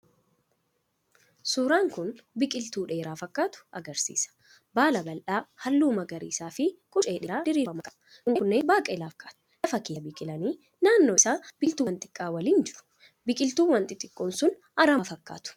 Suuraan kun biqiltuu dheeraa fakkaatu agarsiisa. Baala bal’aa, halluu magariisa, fi quncee dheeraa diriirfaman qaba. Quncee kunneen baaqelaa fakkaatu, lafa keessaa biqilanii, naannoo isaa biqiltuuwwan xiqqaa waliin jiru. Biqiltuuwwan xixiqqoon sun aramaa fakkatu.